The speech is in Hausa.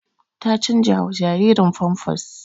Ta canjawa jaririn famfas